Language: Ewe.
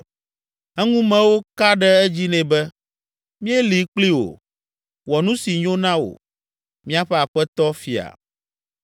Eŋumewo ka ɖe edzi nɛ be, “Míeli kpli wò; wɔ nu si nyo na wò, míaƒe aƒetɔ fia.”